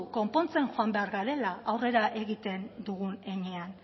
konpontzen joan behar garela aurrera egiten dugun heinean